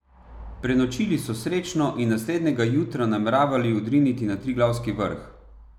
Prenočili so srečno in naslednjega jutra nameravali odriniti na triglavski vrh.